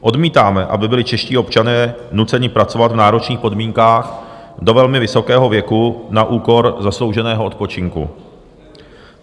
Odmítáme, aby byli čeští občané nuceni pracovat v náročných podmínkách do velmi vysokého věku na úkor zaslouženého odpočinku.